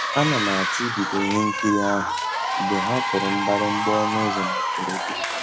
A na m àchọ́ ìbìdó ihe nkírí ahụ́ mgbe ha kùrù mgbị̀rị̀gbà ọnụ́ ụ́zọ́ na mbèredè.